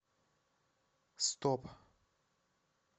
стоп